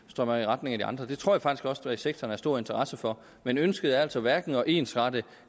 strømmer i retning af de andre det tror jeg faktisk også at sektoren har stor interesse for men ønsket er altså hverken at ensrette